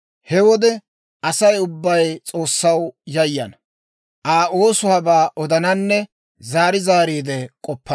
He wode Asay ubbay S'oossaw yayana; Aa oosuwaabaa odananne zaari zaariide k'oppana.